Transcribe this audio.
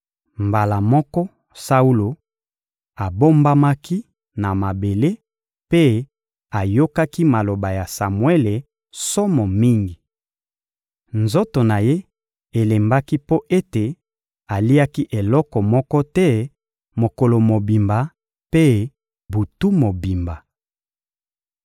Mbala moko, Saulo abombamaki na mabele mpe ayokaki maloba ya Samuele somo mingi. Nzoto na ye elembaki mpo ete aliaki eloko moko te mokolo mobimba mpe butu mobimba.